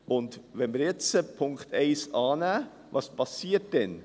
Was passiert, wenn wir Punkt 1 annehmen?